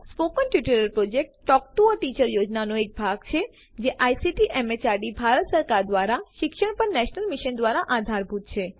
spoken tutorial project a talk to a teacher યોજનાનો એક ભાગ છે જે આઇસીટી એમએચઆરડી ભારત સરકાર દ્વારા શિક્ષણ પર નેશનલ મિશન દ્વારા આધારભૂત છે